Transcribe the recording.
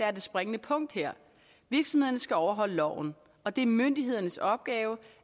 er det springende punkt her virksomhederne skal overholde loven og det er myndighedernes opgave